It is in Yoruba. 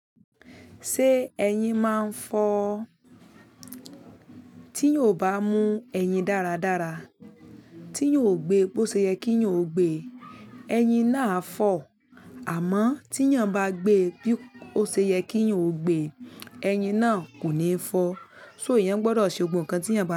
Ṣé ẹyin máa ń fọ́? Tí yóò bá mú ẹyin dáradára, tí yóò gbé bó ṣe yẹ kí yóò gbé, ẹyin náà á fọ́. Àmọ́ tí yàn bá gbé bí ó ṣe yẹ kí yàn ó gbé, ẹyin náà kò ní fọ́. So eyàn gbọdọ̀ ṣe gbogbo nǹkan tí yàn bá.